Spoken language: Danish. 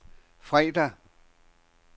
fredag